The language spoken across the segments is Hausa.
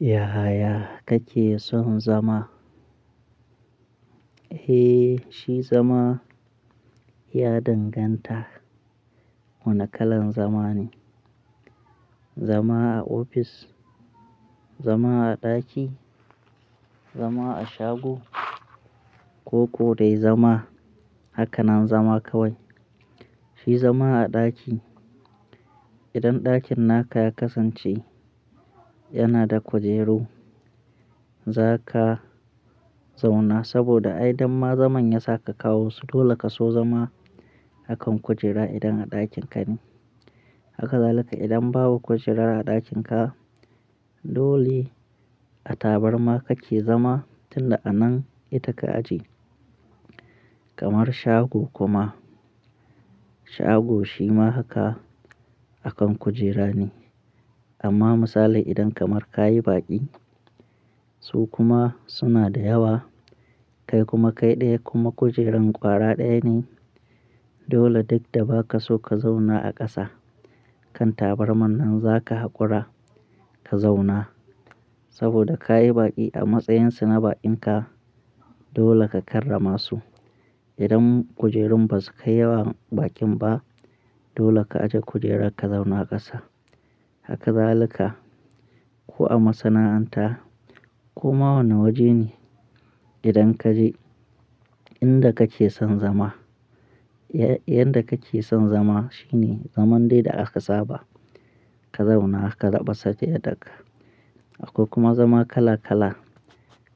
Yaya kake son zama? Eh, shi zama ya danganta wane kalan zama ne. Zama a office, zama a daki, zama a shago, koko dai zama? Haka nan zama kawai. Shi zama a ɗaki, idan ɗakin naka ya kasance yana da kujeru, za ka zauna saboda ai idan ma zaman ya saka kawo su, dole ka so zama a kan kujera idan a ɗakin ka ne. Haka zalika idan babu kujera a ɗakin ka, dole a tabarma kake zama tun da anan ita ka aje. Kamar shago kuma, shago shi ma haka a kan kujera ne. Amma misalin idan kamar ka yi baƙi su kuma suna da yawa, kai kuma kai ɗaya kuma kujerun ƙwara ɗaya ne, dole duk da ba ka so ka zauna a ƙasa kan tabarmar nan zaka haƙura ka zauna saboda ka yi baƙi a matsayin su na bakinka dole ka karrama su. Idan kujerun ba su kai yawan baƙin ba, dole ka aje kujera ka zauna ƙasa. Haka zalika. Ko a masana'anta ko ma wane waje ne idan ka je inda kake son zama. Yanda kake son zama shine zaman dai da aka saba ka zauna haka raɓasa take ɗaga. Akwai kuma zama kala kala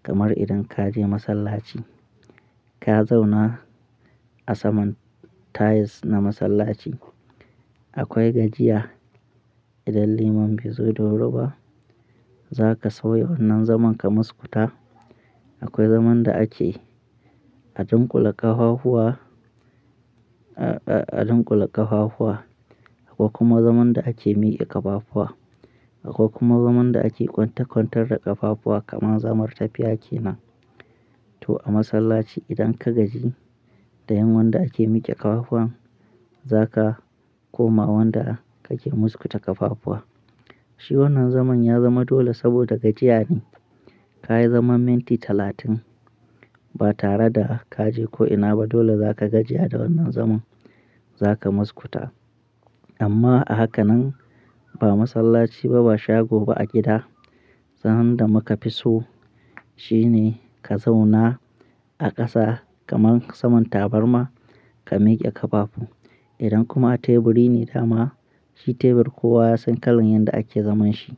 kamar idan ka je masallaci, ka zauna a saman tiles na masallaci. Akwai gajiya idan liman bai zo da wuri ba, za ka sauya wannan zaman ka muskuta. Akwai zaman da ake adunkule ƙafafuwa, a-a-a adunkule ƙafafuwa. Akwai kuma zaman da ake miƙe ƙafafuwa. Akwai kuma zaman da ake kwanta kwantar da ƙafafuwa kamar zamar tafiya ke nan. To a masallaci idan ka gaji da yin wanda ake miƙe ƙafafun, za ka koma wanda kake muskuta ƙafafuwa. Shi wannan zaman ya zama dole saboda gajiya ne. Ka yi zaman minti talatin ba tare da ka je ko'ina ba dole za ka gajiya da wannan zaman za ka muskuta. Amma a haka nan ba masallaci ba ba shago ba a gida, zman da muka fi so shine ka zauna a ƙasa kamar saman tabarma ka miƙe ƙafafu. Idan kuma a teburi ne dama, shi tebur kowa ya san kalan yanda ake zaman shi.